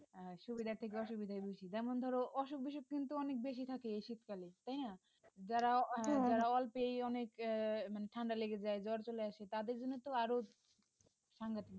সুবিধার্ থেকে অসুবিধা বেশি যেমন ধরো অসুখ-বিসুখ কিন্তু অনেক বেশি থাকে শীতকালে তাই না যারা যারা অল্পেই অনেক আহ মানে ঠান্ডা লেগে যায় জ্বর চলে আসে তাদের জন্য তো আরো সাংঘাতিক ব্যাপার